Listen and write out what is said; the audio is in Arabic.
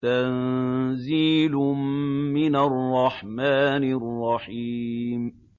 تَنزِيلٌ مِّنَ الرَّحْمَٰنِ الرَّحِيمِ